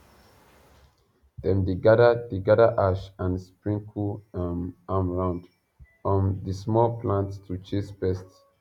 dem dey gather dey gather ash and sprinkle um am round um the small plants to chase pests